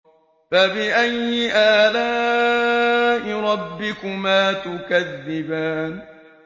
فَبِأَيِّ آلَاءِ رَبِّكُمَا تُكَذِّبَانِ